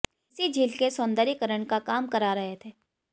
इसी झील के सौंदर्यीकरण का काम करा रहे थे